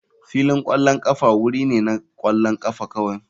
Filin ƙwallon ƙafa wuri ne na ƙwallon ƙafa kawai.